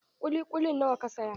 Kuli kulin nawa ka saya?